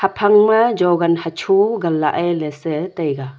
phang ma jogan hasho ganlae se taiga.